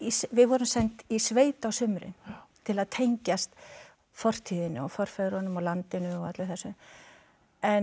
við vorum send í sveit á sumrin til að tengjast fortíðinni og forfeðrunum og landinu og öllu þessu en